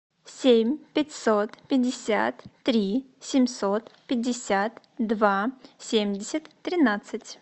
семь пятьсот пятьдесят три семьсот пятьдесят два семьдесят тринадцать